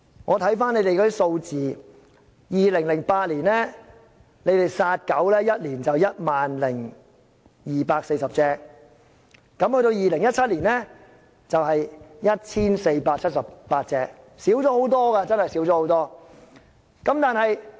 根據漁護署的數字，署方在2008年殺死 10,240 頭狗隻，及至2017年，數目是 1,478 隻，確實大幅減少。